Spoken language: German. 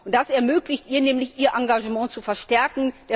Das ermöglicht ihr nämlich, ihr Engagement zu verstärken.